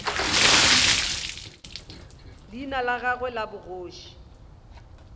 leina la gagwe la bogoši